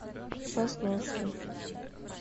сосновки